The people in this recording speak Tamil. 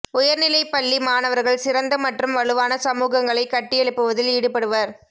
உயர்நிலைப் பள்ளி மாணவர்கள் சிறந்த மற்றும் வலுவான சமூகங்களை கட்டியெழுப்புவதில் ஈடுபடுவர்